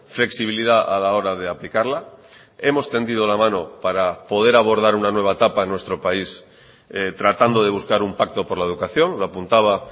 flexibilidad a la hora de aplicarla hemos tendido la mano para poder abordar una nueva etapa a nuestro país tratando de buscar un pacto por la educación lo apuntaba